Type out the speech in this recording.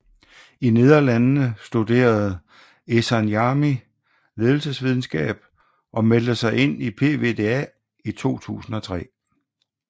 I Nederlandene studere Ehsan Jami ledelsesvidenskab og meldte sig ind i PvdA i 2003